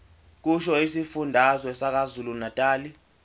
kusho isifundazwe sakwazulunatali